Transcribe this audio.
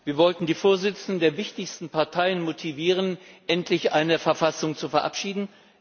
Wir wollten die Vorsitzenden der wichtigsten Parteien motivieren, endlich eine Verfassung zu verabschieden.